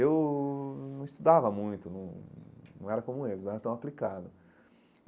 Eu não estudava muito, não não era como eles, não era tão aplicado.